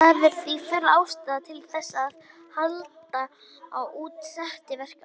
Það er því full ástæða til þess að halda úti SETI-verkefni.